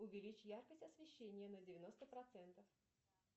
увеличь яркость освещения на девяносто процентов